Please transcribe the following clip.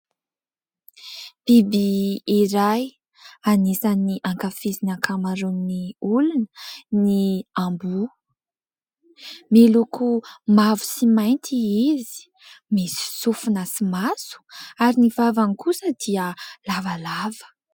Biby iray anisan'ny ankafizin'ny ankamaroan'ny olona ny amboa. Miloko mavo sy mainty izy misy sofina sy maso ary ny vavany kosa dia lavalava.